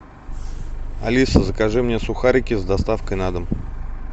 алиса закажи мне сухарики с доставкой на дом